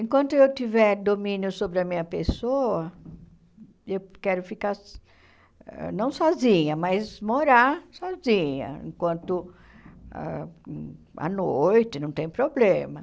Enquanto eu tiver domínio sobre a minha pessoa, eu quero ficar, não sozinha, mas morar sozinha, enquanto ãh a noite não tem problema.